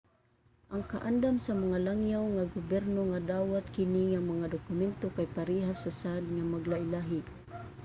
ang kaandam sa mga langyaw nga gobyerno nga dawaton kini nga mga dokumento kay parehas ra sad nga maglahi-lahi